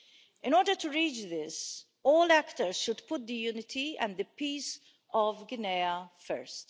In order to reach this, all actors should put the unity and the peace of Guinea first.